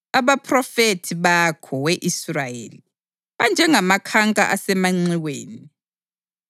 Abaphrofethi bakho, we Israyeli, banjengamakhanka asemanxiweni.